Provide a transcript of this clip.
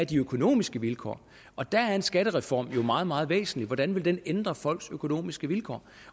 de økonomiske vilkår og der er en skattereform jo meget meget væsentlig hvordan vil den ændre folks økonomiske vilkår